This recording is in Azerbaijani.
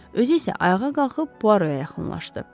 Özü isə ayağa qalxıb Puoroya yaxınlaşdı.